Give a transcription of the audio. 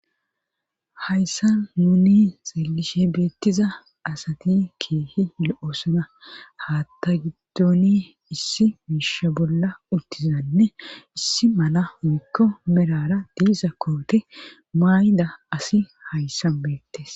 hayssa nuni xeelishe beettiza asati keehi lo7osana haatta giddoni issi miisha bolla uttizanne issi mana mekko merara diisa koote maayda asi hayssan beettes